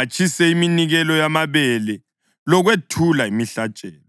atshise iminikelo yamabele lokwethula imihlatshelo.’ ”